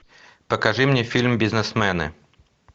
покажи мне фильм бизнесмены